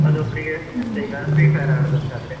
ಒಂದು ಒಬ್ರಿಗೆ ಎಂತ ಈಗ free fire ಆಡುವುದಂತಾದ್ರೆ